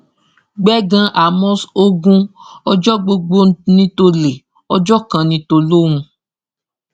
gbẹngàn àmos ogun ọjọ gbogbo ní tòlé ọjọ kan ní tòlóhún